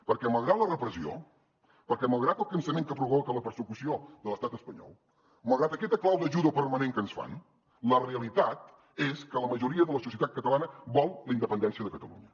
perquè malgrat la repressió perquè malgrat el cansament que provoca la persecució de l’estat espanyol malgrat aquesta clau de judo permanent que ens fan la realitat és que la majoria de la societat catalana vol la independència de catalunya